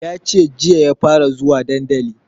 Yace jiya ya fara zuwa dandali